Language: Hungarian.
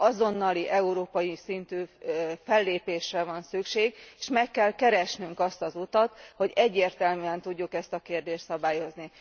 Azonnali európai szintű fellépésre van szükség, és meg kell keresnünk azt az utat, hogy egyértelműen tudjuk ezt a kérdést szabályozni.